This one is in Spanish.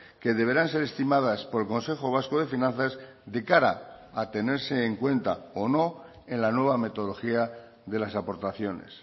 que deberán ser estimadas por el consejo vasco de finanzas de cara a tenerse en cuenta o no en la nueva metodología de las aportaciones